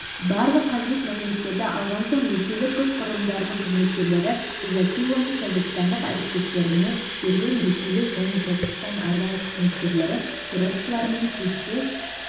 барлық қажет мәліметтерді алған соң ресейлік күш құрылымдарының қызметкерлері изаттилоны тәжікстандық әріптестеріне берген ресейлік және тәжікстан арнайы қызметкерлері терроршылармен күресте